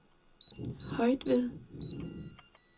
Højtved